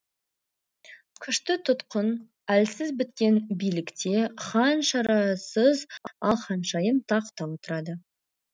күшті тұтқын әлсіз біткен билікте хан шарасыз ал ханшайым тақта отырады